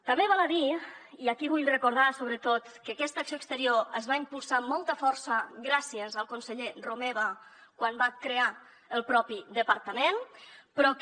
també val a dir i aquí vull recordar sobretot que aquesta acció exterior es va impulsar amb molta força gràcies al conseller romeva quan va crear el propi departament però que